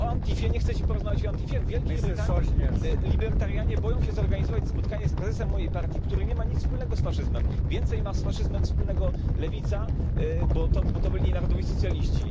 A o Antifie nie chcecie porozmawiać? Libertarianie boją się zorganizować spotkanie z prezesem mojej partii, który nie ma nic wspólnego z faszyzmem. Więcej ma z faszyzmem wspólnego lewica, bo to byli narodowi socjaliści.